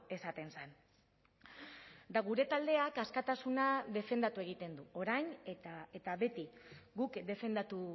esaten zen eta gure taldeak askatasuna defendatu egiten du orain eta beti guk defendatu